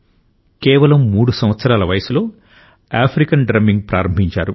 కేవలం 3 సంవత్సరాల వయస్సులో ఆఫ్రికన్ డ్రమ్మింగ్ ప్రారంభించారు